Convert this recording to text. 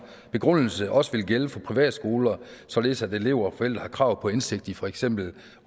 begrundelse også ville gælde for privatskoler således at elever og forældre havde krav på indsigt i for eksempel